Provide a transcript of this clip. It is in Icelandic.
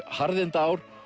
harðindaár